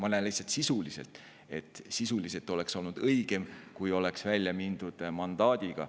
Ma näen lihtsalt, et sisuliselt oleks olnud õigem, kui oleks välja mindud mandaadiga.